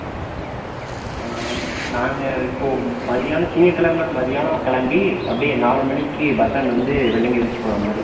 ஆஹ் நாங்க இப்போ மதியானம் திங்கட்கிழமை மதியானம் கிளம்பி அப்படியே நாலு மணிக்கு bus stand வந்து வெள்ளியங்கிரி hills போற மாதிரி plan பண்ணி இருக்கோம்